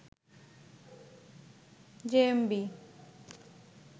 JMB